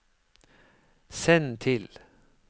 send til